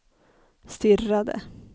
stirrade